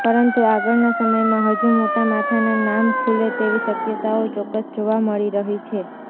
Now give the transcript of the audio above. પરંતુ આગળના સમયમાં હજુ મોટા માથાના નામ ખૂલે તેવી શક્યતાઓ ચોક્કસ જોવા મળી રહી છે